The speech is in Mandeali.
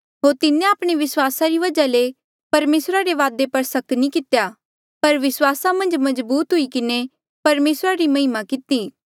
होर तिन्हें आपणे विस्वासा री वजहा ले परमेसरा रे वादा पर सक नी कितेया पर विस्वासा मन्झ मजबूत हुई किन्हें परमेसरा री महिमा किती